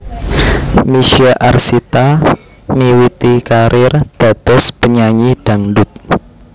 Misye Arsita miwiti karir dados penyanyi dhangdut